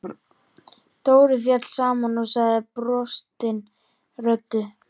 Dóri féll saman og sagði brostinni röddu: